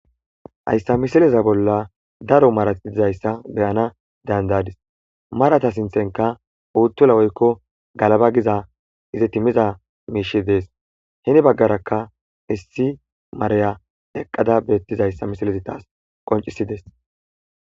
Hayssa misileza bolla daro mara nayta be'anaas danda'adis. Marata sinththenkka uutula woykko galaba giza izeti miza miishshey dees. Heni baggara issi mariya eqqadakka beettizayssa misilezi taasi qonccisides.